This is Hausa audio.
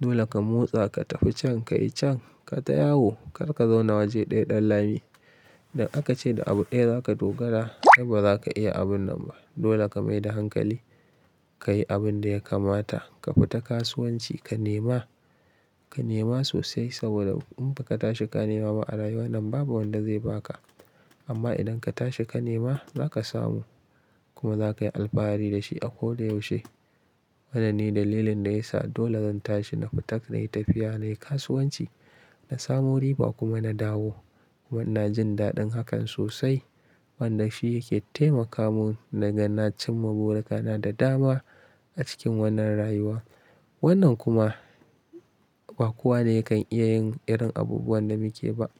Dole ka motsa ka tafi can ka yi can ka ta yawo kar ka zauna waje ɗaya ɗan lami. Idan aka ce da abu daya za ka dogara ai ba za ka iya abun nan ba. Dole ka mai da hankali ka yi abin da ya kamata. Ka fita kasuwanci ka nema, ka nema sosai saboda in ba ka tashi ka nema ba a rayuwa nan babu wanda zai ba ka. Amma idan ka tashi ka nema za ka samu kuma za ka yi alfahari da shi a ko da yaushe. Wannan ne dalilin da ya sa dole zan tashi na fita na yi tafiya, na yi kasuwanci, na samu riba kuma na dawo. Na jin daɗin hakan sosai wanda shi yake taimaka mun na gan nacin ma burakana da dama a cikin wannan rayuwa. Wannan kuma ba kowa ne ya kan iya yin irin abubuwan da muke ba.